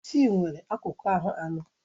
Isi nwere akụkụ ahụ anọ.